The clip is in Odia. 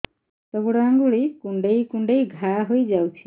ହାତ ଗୋଡ଼ ଆଂଗୁଳି କୁଂଡେଇ କୁଂଡେଇ ଘାଆ ହୋଇଯାଉଛି